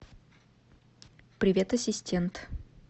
привет ассистент